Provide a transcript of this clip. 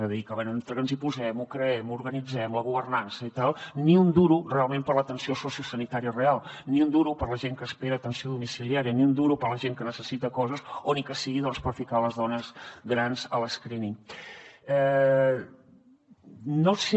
és a dir que bé entre que ens hi posem o creem o organitzem la governança i tal ni un duro realment per a l’atenció sociosanitària real ni un duro per a la gent que espera atenció domiciliària ni un duro per a la gent que necessita coses o ni que sigui per ficar les dones grans a l’no sé